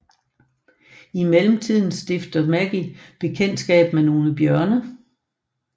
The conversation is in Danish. I mellemtiden stifter Maggie bekendtskab med nogle bjørne